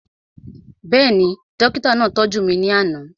Bẹ́ẹ̀ni, dókítà náà tọ́jú mi ní àná